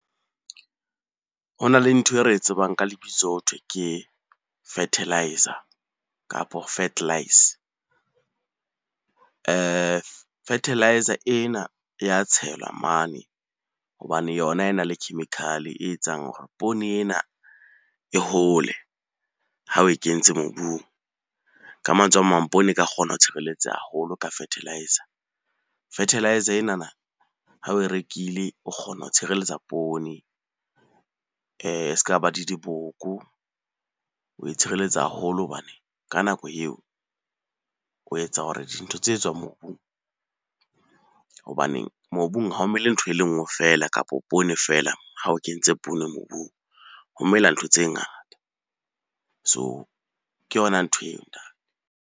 Ho na le ntho e re e tsebang ka lebitso hothwe ke fertiliser, kapa . Fertiliser ena e ya tshelwa mane hobane yona e na le chemical-e e etsang hore poone ena e hole ha oe kentse mobung. Ka mantswe a mang, poone e ka kgona ho tshireletseha haholo ka fertiliser. Fertiliser enana ha oe rekile, o kgona ho tshireletsa poone e s'ka ba di diboko. Oe tshireletsa haholo hobane ka nako eo o etsa hore dintho tse tswang mobung, hobaneng mobung ha o mele ntho e le nngwe feela, kapo poone feela ha o kentse poone mobung. Ho mela ntho tse ngata, so ke yona nthweo .